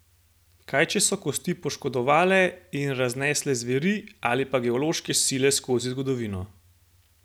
Kaj če so kosti poškodovale in raznesle zveri, ali pa geološke sile skozi zgodovino?